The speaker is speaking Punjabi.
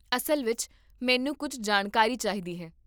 ਅਸਲ ਵਿੱਚ, ਮੈਨੂੰ ਕੁੱਝ ਜਾਣਕਾਰੀ ਚਾਹੀਦੀ ਹੈ